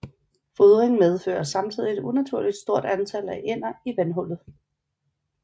Fodring medfører samtidig et unaturligt stort antal af ænder i vandhullet